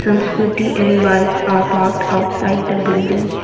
some scooty and bikes are parked outside the building.